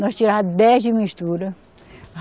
Nós tirava dez de mistura.